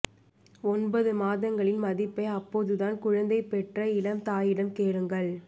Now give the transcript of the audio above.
ஒன்பது மாதங்களின் மதிப்பை அப்போதுதான் குழந்தை பெற்ற இளம் தாயிடம் கேளுங்கள்